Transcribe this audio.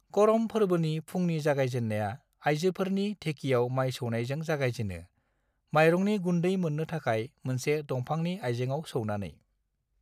करम फोरबोनि फुंनि जागायजेन्नाया आइजोफोरनि धेकियाव माय सौनायजों जागायजेनो, मायरंनि गुन्दै मोननो थाखाय मोनसे दंफांनि आइजेंआव सौनानै।